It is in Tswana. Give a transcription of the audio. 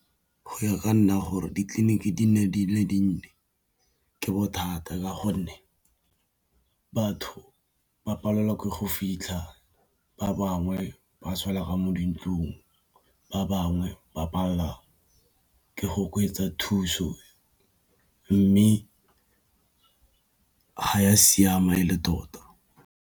Go ya ka nna gore ditleliniki di nne di le dinnye ke bothata ka gonne batho ba palelwa ke go fitlha ba bangwe ba swela Ka mo dintlong, ba bangwe ba palelwa ke go oketsa thuso mme ga ya siama e le tota.